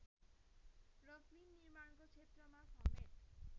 र फिल्म निर्माणको क्षेत्रमासमेत